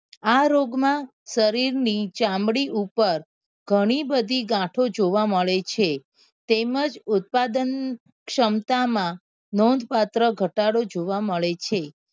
આ રોગ માં શરીર ની ચામડી પર ગણી બધી ગાંઠો જોવા મળે છે તેમજ ઉત્પાદન ક્ષમતા માં નોંધ પાત્ર ઘટાડો જોવા મળે છે.